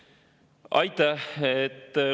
Aitäh!